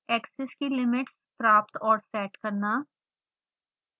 axes की limits प्राप्त और सेट करना